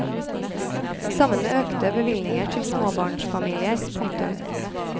Sammen med økte bevilgninger til småbarnsfamilier. punktum